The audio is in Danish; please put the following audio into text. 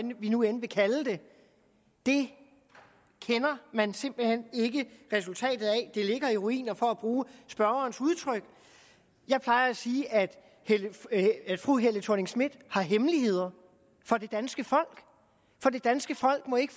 vi nu end vil kalde det kender man simpelt hen ikke resultatet af det ligger i ruiner for at bruge spørgerens udtryk jeg plejer at sige at fru helle thorning schmidt har hemmeligheder for det danske folk for det danske folk må ikke